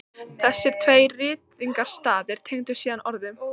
Þessir tveir ritningarstaðir tengdust síðan orðum